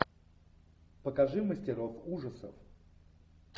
покажи мастеров ужасов